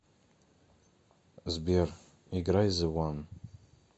сбер играй зэ ван